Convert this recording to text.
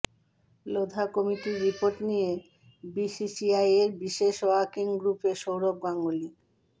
লোধা কমিটির রিপোর্ট নিয়ে বিসিসিআইয়ের বিশেষ ওয়ার্কিং গ্রুপে সৌরভ গাঙ্গুলি